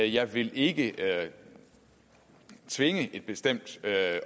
jeg vil ikke tvinge et bestemt